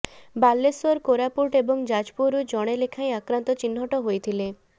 ବାଲେଶ୍ୱର କୋରାପୁଟ ଏବଂ ଯାଜପୁରରୁ ଜଣେ ଲେଖାଏଁ ଆକ୍ରାନ୍ତ ଚିହ୍ନଟ ହୋଇଥିଲେ